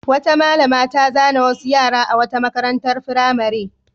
Wata malama ta zane wasu yara a wata makarantar firamare.